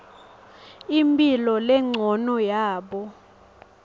imphilo lencono yabo